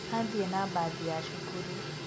Athiĩ na mbathi ya cukuru